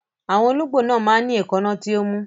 Àwọn olóńgbò máa ń ní èékánná tí ó mú.